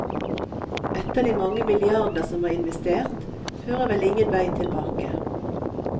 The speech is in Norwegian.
Etter de mange milliarder som er investert, fører vel ingen vei tilbake.